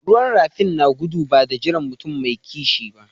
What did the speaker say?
Ruwan rafin na gudu ba de jiran mutum mai kishi ba.